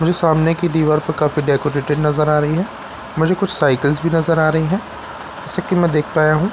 मुझे सामने की दिवार पर काफी डेकोरेटेड नज़र आ रही है मुझे कुछ साइकल्स भी नज़र आ रही है जैसा की मैं देख पाया हूँ ।